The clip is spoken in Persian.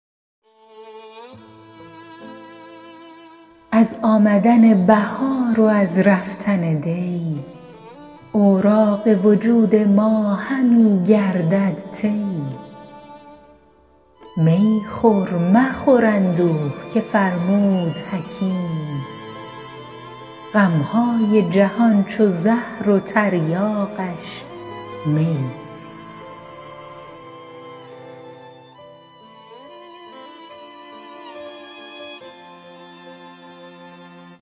از آمدن بهار و از رفتن دی اوراق وجود ما همی گردد طی می خور مخور اندوه که فرمود حکیم غمهای جهان چو زهر و تریاقش می